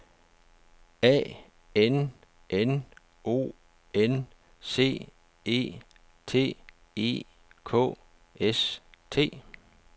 A N N O N C E T E K S T